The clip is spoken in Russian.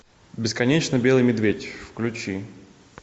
бесконечно белый медведь включи